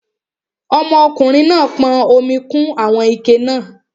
Ọmọkùnrin náà pọn omi kún àwọn ike náà